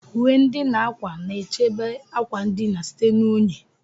Uwe ndina ákwà na-echebe akwa ndina site na unyi.